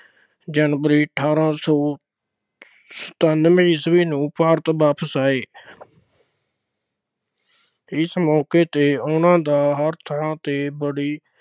January ਅਠਾਰਾਂ ਸੌ ਸਤਾਨਵੇਂ ਈਸਵੀ ਨੂੰ ਭਾਰਤ ਵਾਪਸ ਆਏ। ਇਸ ਮੌਕੇ ਤੇ ਉਨ੍ਹਾਂ ਦਾ ਹਰ ਥਾਂ ਤੇ ਬੜੀ